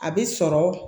A bɛ sɔrɔ